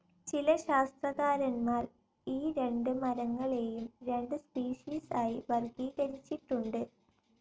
ചില ശാസ്ത്രകാരന്മാർ ഈ രണ്ട് മരങ്ങളെയും രണ്ട് സ്പിഷീസ് ആയി വർഗ്ഗീകരിച്ചിട്ടുണ്ട്.